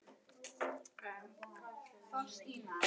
Já, við máttum náttúrlega heyra það.